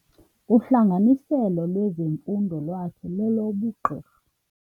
Uhlanganiselo lwezemfundo lwakhe lolobugqirha.